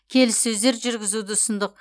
келіссөздер жүргізуді ұсындық